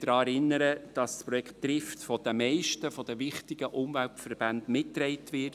Ich möchte daran erinnern, dass das Projekt Trift von den meisten wichtigen Umweltverbänden mitgetragen wird.